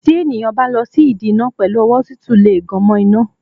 Tí ènìyàn bá lọ sí ìdí iná pẹ̀lú ọwọ́ tútù lè gan mo iná.